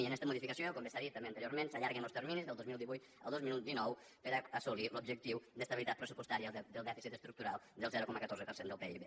en esta modificació com bé s’ha dit també anteriorment s’allarguen els terminis del dos mil divuit al dos mil dinou per assolir l’objectiu d’estabilitat pressupostària del dèficit estructural del zero coma catorze per cent del pib